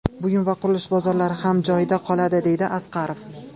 Buyum va qurilish bozorlari ham joyida qoladi”, deydi Asqarov.